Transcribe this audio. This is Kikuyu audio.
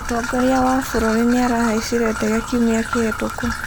Mũtongoria wa bũrũri nĩarahaicire ndege kiumia kĩhĩtũku